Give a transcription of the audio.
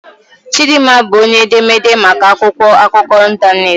Chidinma bụ onye edemede maka akwụkwọ akụkọ ịntanetị.